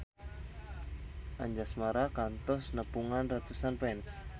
Anjasmara kantos nepungan ratusan fans